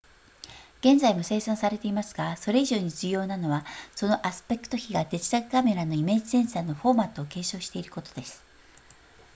現在も生産されていますがそれ以上に重要なのはそのアスペクト比がデジタルカメラのイメージセンサーのフォーマットを継承していることです